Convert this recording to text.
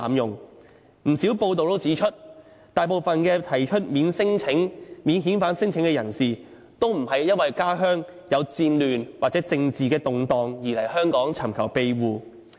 有不少報道都指出，大部分提出免遣返聲請的人士，都不是因為家鄉有戰亂，或者政治動盪而來香港尋求庇護。